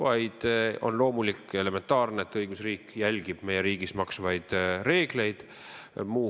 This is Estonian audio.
Aga on loomulik ja elementaarne, et õigusriik järgib meie riigis kehtivaid reegleid.